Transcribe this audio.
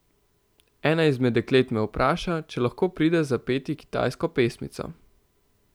Ena izmed deklet me vpraša, če lahko pride zapeti kitajsko pesmico.